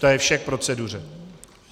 To je vše k proceduře.